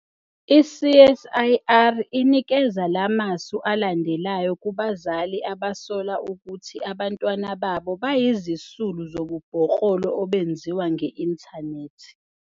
I-CSIR inikeza la masu alandelayo kubazali abasola ukuthi abantwana babo bayizisulu zobubhoklolo obenziwa nge-inthanethi.